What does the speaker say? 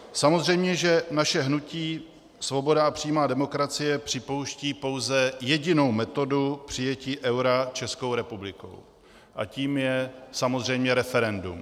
Samozřejmě že naše hnutí Svoboda a přímá demokracie připouští pouze jedinou metodu přijetí eura Českou republikou a tou je samozřejmě referendum.